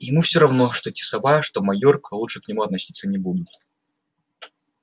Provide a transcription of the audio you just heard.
ему всё равно что тисовая что майорка лучше к нему относиться не будут